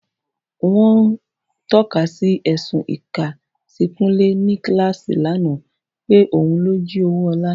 Wọ́n ń tọ́ka sí ẹ̀sùn ìka sí Kunle ní kíláàsì lánàá, pé òun ló jí owó Ola.